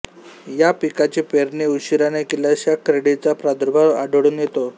या पिकाची पेरणी उशीराने केल्यास या कीडीचा प्रादुर्भाव आढळून येतो